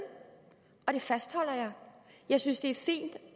og det fastholder jeg jeg synes det er fint